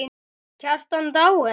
Kjartan dáinn!